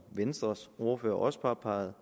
venstres ordfører også påpegede